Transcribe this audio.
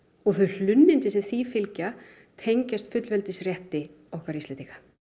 og þau hlunnindi sem því fylgja tengjast fullveldisrétti okkar Íslendinga